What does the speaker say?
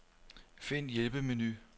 Find hjælpemenu.